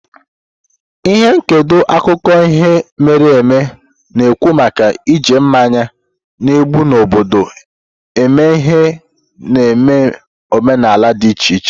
Ihe ndekọ akụkọ ihe mere eme na-ekwu maka iji mmanya na-egbu obodo eme ihe n'ememe omenala dị iche iche.